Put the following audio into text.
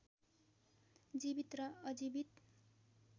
जीवित र अजीवित